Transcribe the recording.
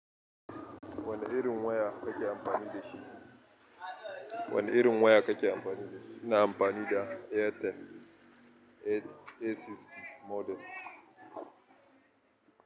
Wane irin waya kake amfani da shi? Wane irin waya kake amfani da shi? Ina amfani da Airtel. A sittin model.